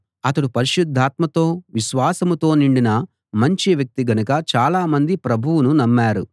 అతడు పరిశుద్ధాత్మతో విశ్వాసంతో నిండిన మంచి వ్యక్తి గనుక చాలామంది ప్రభువును నమ్మారు